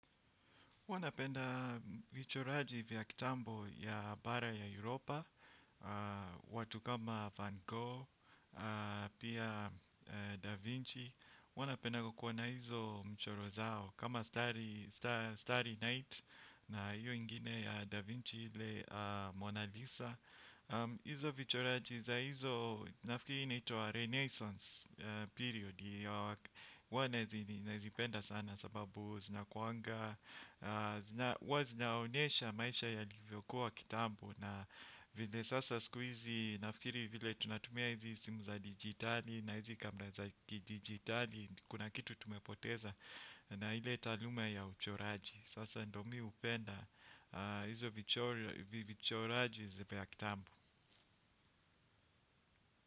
Huwa napenda vichoraji vya kitambo ya bara ya Europa. Watu kama Van Gogh, pia Da Vinci Wanapenda kukuwa na hizo mchoro zao. Kama Starry Night na hiyo ingine ya Da Vinci ile Mona Lisa. Hizo vichoraji za hizo nafikiri inaitwa Renaissance period huwa nazipenda sana sababu zinakuanga huwa zinaonyesha maisha yalivyokuwa kitambuo na vile sasa siku hizi nafikiri vile tunatumia hizi simu za digitali. Na hizi kamera za digitali kuna kitu tumepoteza na hile talume ya uchoraji. Sasa ndiyo mimi hupenda hizi vichoraji zipe ya kitambo.